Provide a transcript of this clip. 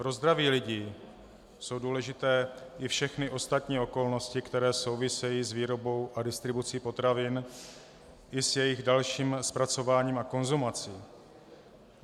Pro zdraví lidí jsou důležité i všechny ostatní okolnosti, které souvisejí s výrobou a distribucí potravin i s jejich dalším zpracováním a konzumací.